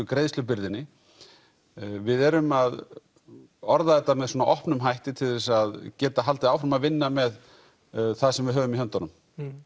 greiðslubyrðinni við erum að orða þetta með svona opnum hætti til þess að geta haldið áfram að vinna með það sem við höfum í höndunum